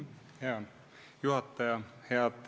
Hea juhataja!